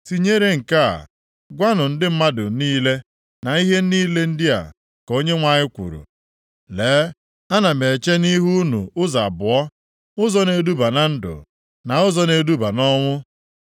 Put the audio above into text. “Tinyere nke a, gwanụ ndị mmadụ niile, ‘na ihe ndị a ka Onyenwe anyị kwuru: Lee, ana m eche nʼihu unu ụzọ abụọ, ụzọ na-eduba na ndụ, na ụzọ na-eduba nʼọnwụ.